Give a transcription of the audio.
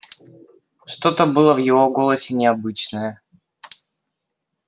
что-то было в его голосе необычное